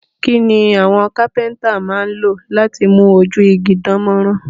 Kí ni àwọn kápẹ́ntà máa ń lò láti mú ojú igi dán mọ́rán?